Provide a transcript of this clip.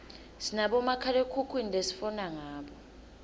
sinabomakhalekhukhwini lesifona ngabo